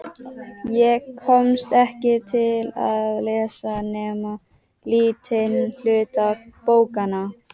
Ég komst ekki til að lesa nema lítinn hluta bókanna.